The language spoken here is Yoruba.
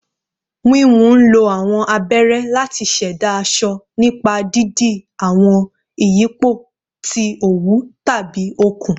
Wiwun nlo awọn abere lati ṣẹda aṣọ nipa didi awọn iyipo ti owu tabi okun